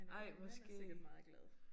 Men min mand er sikkert meget glad